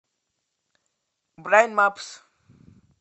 брайн мапс